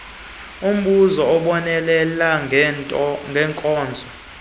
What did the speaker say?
umbuso ubonelela ngeenkonzo